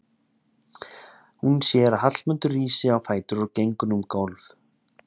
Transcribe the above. Hún sér að Hallmundur rís á fætur og gengur um gólf.